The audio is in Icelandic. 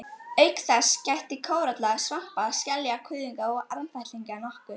Auk þess gætti kóralla, svampa, skelja, kuðunga og armfætlinga nokkuð.